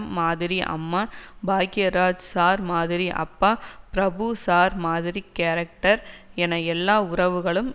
மாதிரி அம்மா பாக்யராஜ் சார் மாதிரி அப்பா பிரபு சார் மாதிரி கேரக்டர் என எல்லா உறவுகளும்